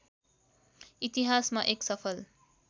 इतिहासमा एक सफल